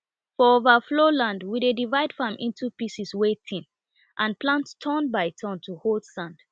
for overflow land we dey divide farm into pieces wey thin and plant turn by turn to hold sand